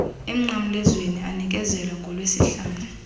emnqamlezweni anikezelwa ngolwesihlanu